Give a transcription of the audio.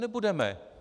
Nebudeme.